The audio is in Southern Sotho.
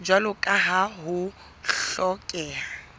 jwalo ka ha ho hlokeha